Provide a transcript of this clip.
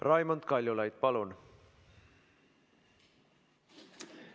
Raimond Kaljulaid, palun!